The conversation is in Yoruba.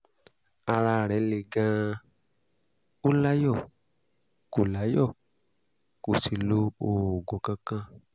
ara rẹ̀ le gan-an ó láyọ̀ kò láyọ̀ kò sì lo oògùn kankan